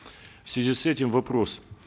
в связи с этим вопрос